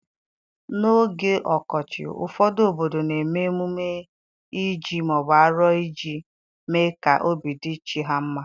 N'oge ọkọchị, ụfọdụ obodo na-eme emume Ije/aro iji mee ka obi dị chi ha mma.